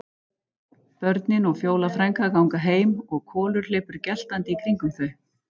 Börnin og Fjóla frænka ganga heim og Kolur hleypur geltandi í kringum þau.